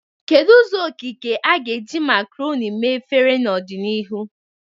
Kedu ụzọ okike a ga-eji macaroni mee efere n'ọdịnihu?